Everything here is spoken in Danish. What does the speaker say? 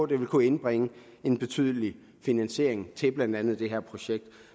det ville kunne indbringe en betydelig finansiering til blandt andet det her projekt